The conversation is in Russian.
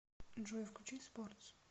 джой включи спортс